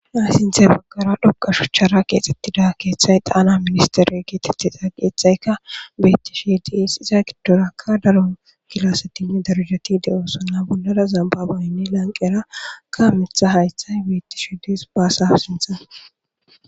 aysinthe baggara dhoqa shuchchara keexxettida keeththay xaana ministere geetethesa qeexayka bettishi diis iza giddorakka daro kilasetinne darujati de7osa na bollara zambabaynne lanqera ka mitha haythay beettishidees baasa sinthan